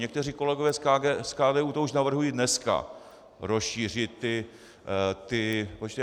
Někteří kolegové z KDU to už navrhují dneska, rozšířit ty počty.